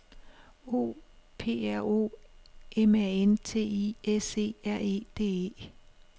O P R O M A N T I S E R E D E